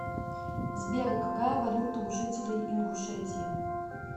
сбер какая валюта у жителей ингушетии